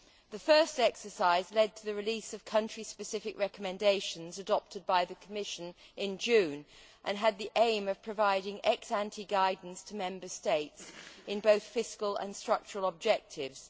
The first exercise led to the release of country specific recommendations adopted by the Commission in June, and had the aim of providing ex ante guidance to Member States in both fiscal and structural objectives.